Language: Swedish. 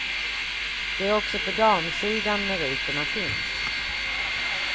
Det är också på damsidan meriterna finns.